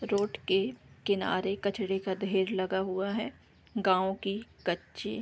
road के किनारे कचड़े का ढ़ेर लगा हुआ है गाँव की कच्ची --